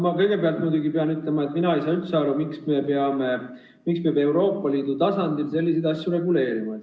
Ma kõigepealt muidugi pean ütlema, et mina ei saa üldse aru, miks peab Euroopa Liidu tasandil selliseid asju reguleerima.